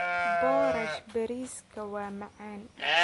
Boorash bariiska waa macaan.